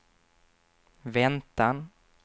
väntan